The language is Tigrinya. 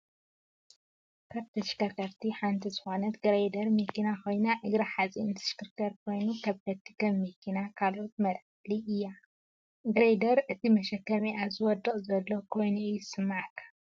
ካብ ተሽከርከርቲ ሓንቲ ዝኮነት ግሬደር መኪና ኮይና እግራ ሓፂን ዝሽክርከር ኮይኑ ከበድቲ ከም መኪናን ካልኦትን መልዓሊት እያ። ግሬደር እቲ መሸከሚአ ዝወድቅ ዘሎ ኮይኑ እዩ ዝስማዓካ።